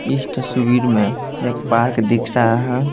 इस तस्वीर में एक पार्क दिख रहा है।